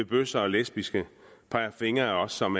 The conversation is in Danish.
bøsser og lesbiske peger fingre af os som